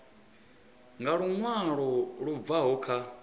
nga luṅwalo lu bvaho kha